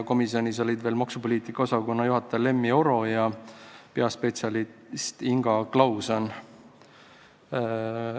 Komisjonis olid veel maksupoliitika osakonna juhataja Lemmi Oro ja peaspetsialist Inga Klauson.